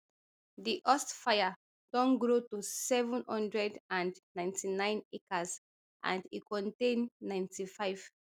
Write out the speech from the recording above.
di hurst fire don grow to seven hundred and ninety-nine acres and e contain ninety-five